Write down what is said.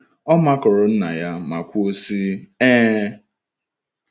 Ọ makụrụ nna ya ma kwuo sị, Ee!